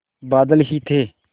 बादल ही थे